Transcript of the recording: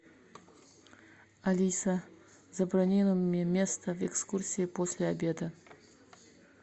алиса забронируй мне место в экскурсии после обеда